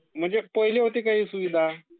ह्ये पहिले होती का सुविधा?